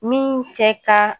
Min cɛ ka